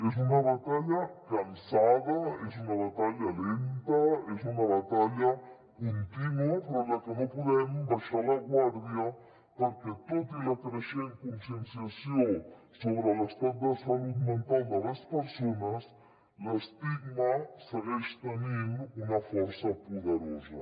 és una batalla cansada és una batalla lenta és una batalla contínua però en la que no podem abaixar la guàrdia perquè tot i la creixent conscienciació sobre l’estat de salut mental de les persones l’estigma segueix tenint una força poderosa